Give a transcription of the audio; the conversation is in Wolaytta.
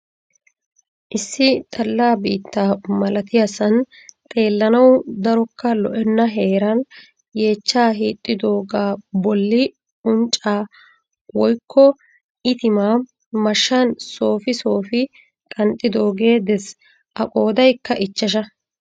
Issi xalla biitta malatiyaasan xeelanawu darokka lo'enna heeran yeechchaa hiixxidoogaa bolli uncca woykko itimaa mashshan soofi soofi qanxxidoogee dees. A qoodaykka ichchasha.